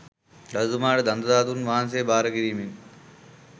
රජතුමාට දන්තධාතූන් වහන්සේ භාර කිරීමෙන්